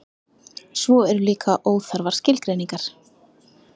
svo eru líka óþarfar skilgreiningar